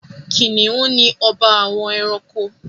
Kìnìún ni ọba àwọn ẹranko.